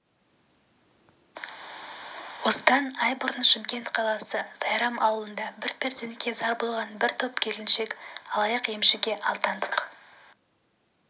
осыдан ай бұрын шымкент қаласы сайрам ауылында бір перзентке зар болған бір топ келіншек алаяқ-емшіге алдандық